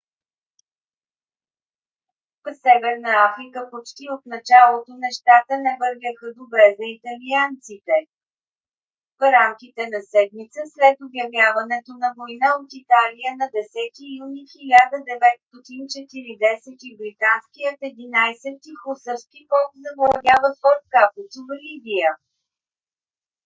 в северна африка почти от началото нещата не вървяха добре за италианците. в рамките на седмица след обявяването на война от италия на 10 юни 1940 г.британският 11 - ти хусарски полк завладява форт капуцо в либия